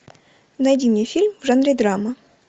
найди мне фильм в жанре драма